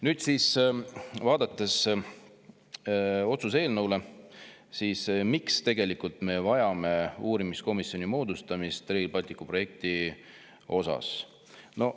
Nüüd, vaadates otsuse eelnõu: miks me vajame uurimiskomisjoni moodustamist Rail Balticu projekti jaoks?